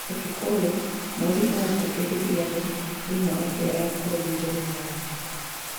ũtukũ ũyũ, Mweri ũgũkubĩrĩria thĩĩ thĩini wa njĩra ya kũthiũrũrũka thĩĩ.